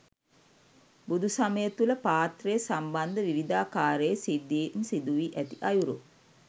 බුදුසමය තුළ පාත්‍රය සම්බන්ධ විවිධාකාරයේ සිද්ධීන් සිදුවී ඇති අයුරු